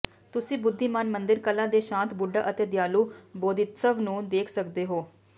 ਤੁਸੀਂ ਬੁੱਧੀਮਾਨ ਮੰਦਿਰ ਕਲਾ ਦੇ ਸ਼ਾਂਤ ਬੁੱਢਾ ਅਤੇ ਦਿਆਲੂ ਬੌਧਿਸਤਵ ਨੂੰ ਦੇਖ ਸਕਦੇ ਹੋ